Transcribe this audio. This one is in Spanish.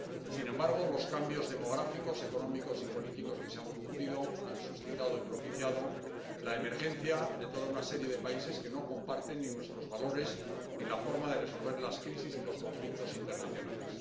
Sin embargo, los cambios demográficos, económicos y políticos que se han producido han suscitado y propiciado la emergencia de toda una serie de países que no comparten ni nuestros valores ni la forma de resolver las crisis y los conflictos internacionales.